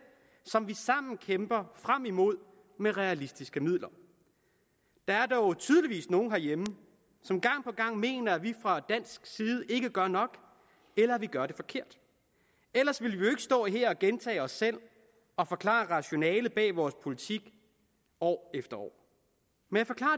som vi sammen kæmper frem imod med realistiske midler der er dog tydeligvis nogen herhjemme som gang på gang mener at vi fra dansk side ikke gør nok eller at vi gør det forkert ellers ville vi jo stå her og gentage os selv og forklare rationalet bag vores politik år efter år men